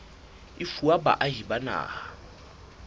e fuwa baahi ba naha